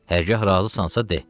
Hərgah razısansa, de.